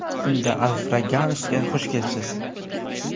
Unda, Alfraganus’ga xush kelibsiz!